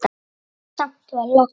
Samt var logn.